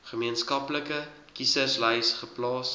gemeenskaplike kieserslys geplaas